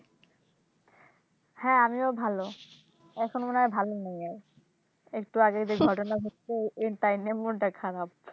হ্যাঁ আমিও ভালো এখন মনে হয় ভালো নেই আর একটু আগেই যে ঘটনা ঘটেছে তাই নিয়ে মনটা খারাপ